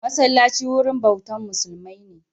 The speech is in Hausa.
Masallaci wurin bautan musulmai